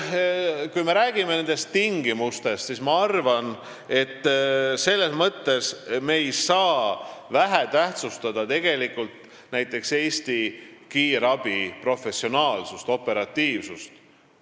Kui me räägime nendest tingimustest, siis ma arvan, et selles mõttes ei tohi me vähetähtsustada näiteks Eesti kiirabi professionaalsust ja operatiivsust.